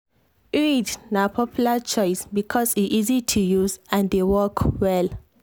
iud na popular choice because e easy to use and dey work well.